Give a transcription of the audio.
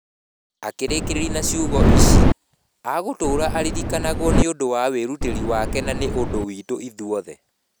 Akĩrĩkĩrĩria na ciugo ici: "Agatũũra aririkanagwo nĩ ũndũ wa wĩrutĩri wake na nĩ ũndũ witũ ithuothe".